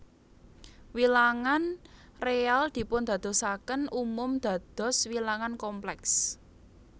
Wilangan réal dipundadosaken umum dados wilangan komplèks